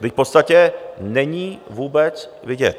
Vždyť v podstatě není vůbec vidět.